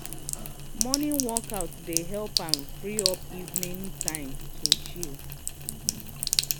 morning workout dey help am free up evening time to chill.